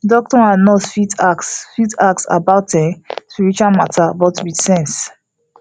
doctor and nurse fit ask fit ask about um spiritual matter but with sense